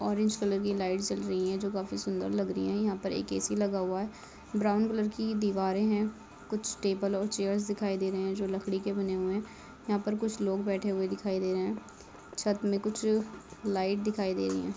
Orange colour की lights जल रही है जो काफी सुन्दर लग रही है यहाँ पर एक ऐ.सी लगा हुआ है ब्राउन कलर की दीवारे है कुछ टेबल और चेयर्स दिखाई दे रहे है जो लकड़ी के बने हुए है यहाँ पे कुछ लोग बैठे हुए दिखाई दे रहे है छत में कुछ लाईट दिखाई दे रही है।